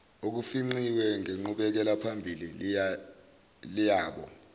olufingqiwe ngenqubekelaphambili yabo